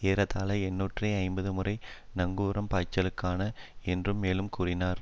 ஏறத்தாழ எண்ணூற்று ஐம்பது முறை நங்கூரம் பாய்ச்சியின என்று மேலும் கூறினார்